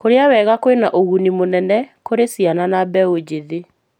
Kũrĩa wega kwĩna ũguni mũnene kũrĩ ciana na mbeũ njĩthĩ.